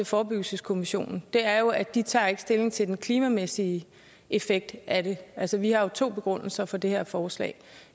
forebyggelseskommissionen er jo at de ikke tager stilling til den klimamæssige effekt af det altså vi har jo to begrundelser for det her forslag